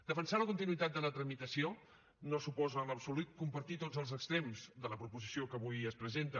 defensar la continuïtat de la tramitació no suposa en absolut compartir tots els extrems de la proposició que avui es presenta